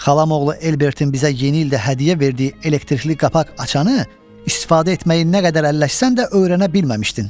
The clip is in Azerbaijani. Xalam oğlu Elbertin bizə yeni ildə hədiyyə verdiyi elektrikli qapaq açanı istifadə etməyi nə qədər əlləşsən də öyrənə bilməmişdin.